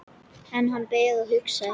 Enn beðið og hugsað